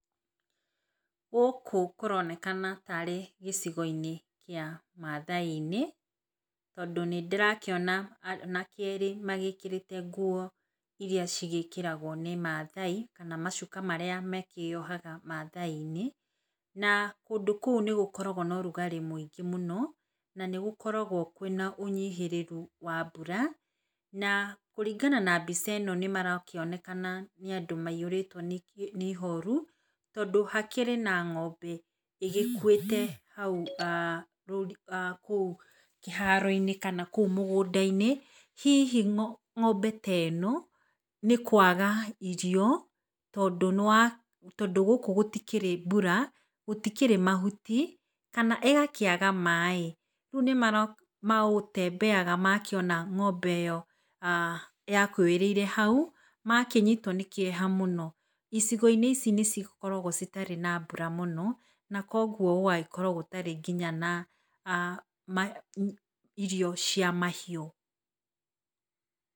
Gũkũ kũronekana ta arĩ gĩcigo-inĩ kĩa mathaai-inĩ, tondũ nĩ ndĩrakĩona anake erĩ magĩkĩrĩte nguo iria cigĩkĩragwo nĩ maathai, kana macuka marĩa makĩyohaga mathaai-inĩ. Na kũndũ kũu nĩgũkoragwo na ũrugarĩ mũingĩ mũno na nĩgũkoragwo kũrĩ na ũnyihĩrĩru wa mbura. Na kũringana na mbica ĩno nĩ marakĩonekana nĩ andũ maihũrĩtwo nĩ ihoru tondũ hakĩrĩ na ng'ombe ĩgĩkuĩte hau kĩharo-inĩ kana kũu mũgũnda-inĩ, hihi ng'ombe ta ĩno nĩ kwaga irio tondũ gũkũ gũtikĩrĩ mbura, gũtikĩrĩ mahuti, kana ĩgakĩaga maaĩ. Rĩu nĩmagũtembeaga makĩona ng'ombe ĩyo yakuĩrĩire hau makĩnyitwo nĩ kĩeha mũno. Icigo-inĩ ici nĩ cikoragwo citarĩ na mbura mũno na koguo gũgagĩkorwo gũtarĩ nginya na irio cia mahiũ.